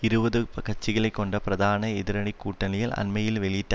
இருபது கட்சிகளைக் கொண்ட பிரதான எதிரனி கூட்டணியில் அண்மையில் வெளியிட்ட